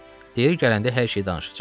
Deyir gələndə hər şeyi danışacaq."